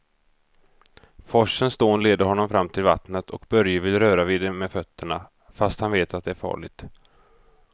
Forsens dån leder honom fram till vattnet och Börje vill röra vid det med fötterna, fast han vet att det är farligt.